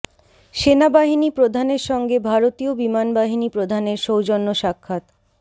সেনাবাহিনী প্রধানের সঙ্গে ভারতীয় বিমান বাহিনী প্রধানের সৌজন্য সাক্ষাত